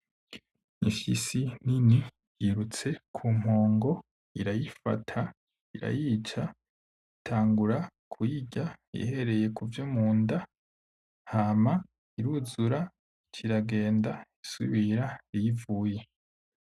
Imfyisi nini yirutse kumpongo , irayifata irayica itangura kuyirya ihereye kuvyo munda hama iruzura ic'iragenda isubira iyivuye.